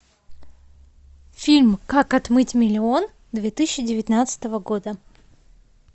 фильм как отмыть миллион две тысячи девятнадцатого года